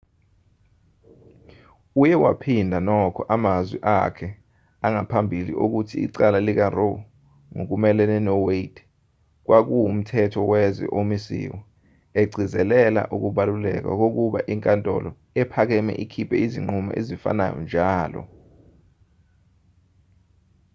uye waphinda nokho amazwi akhe angaphambili okuthi icala likaroe ngokumelene nowade kwakuwumthetho wezwe omisiwe egcizelela ukubaluleka kokuba inkatholo ephakame ikhiphe izinqumo ezifanayo njalo